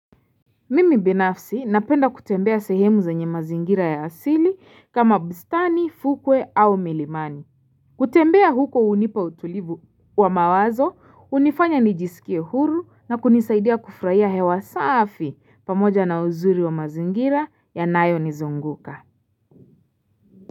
Mimi binafsi napenda kutembea sehemu zenye mazingira ya asili kama bustani, fukwe au milimani. Kutembea huko hunipa utulivu wa mawazo, hunifanya nijisikie huru na kunisaidia kufurahia hewa safi pamoja na uzuri wa mazingira yanayonizunguka.